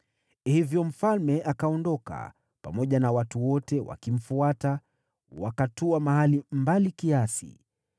Hivyo mfalme akaondoka, pamoja na watu wote wakimfuata, wakatua mahali mbali kiasi.